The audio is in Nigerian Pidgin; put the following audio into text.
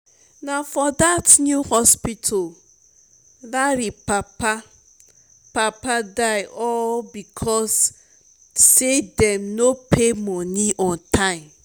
na for dat new hospital larry papa papa die all because say dem no pay money on time